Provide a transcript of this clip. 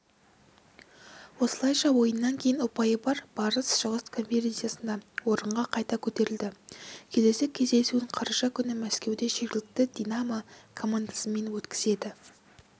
осылайша ойыннан кейін ұпайы бар барыс шығыс конференциясында орынға қайта көтерілді келесі кездесуін қараша күні мәскеуде жергілікті динамо командасымен өткізеді